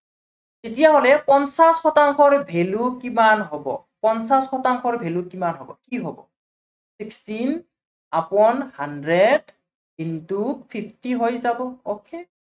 তেতিয়া হলে পঞ্চাশ শতাংশৰ value কিমান হব, পঞ্চাশ শতাংশৰ value কিমান হব, কি হব, sixteen upon hundred into fifty হৈ যাব okay